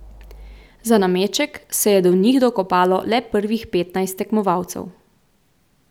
Za nameček se je do njih dokopalo le prvih petnajst tekmovalcev.